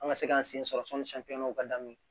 An ka se k'an sen sɔrɔ ka daminɛ